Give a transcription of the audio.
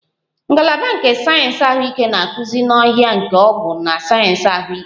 Ngalaba nke sayensị ahụike na-akụzi n'ọhịa nke ọgwụ na sayensị ahụike